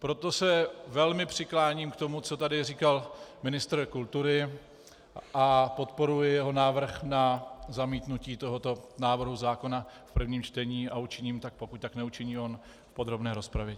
Proto se velmi přikláním k tomu, co tu říkal ministr kultury, a podporuji jeho návrh na zamítnutí tohoto návrhu zákona v prvním čtení a učiním tak, pokud tak neučiní on v podrobné rozpravě.